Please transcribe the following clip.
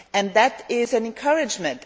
that is an encouragement.